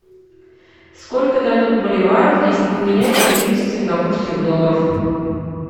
сколько дадут боливаров если поменять сто тридцать сингапурских долларов